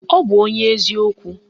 Ọ bụ onye ezi okwu